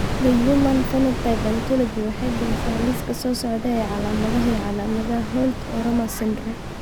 The Human Phenotype Ontology waxay bixisaa liiska soo socda ee calaamadaha iyo calaamadaha Holt Oram syndrome.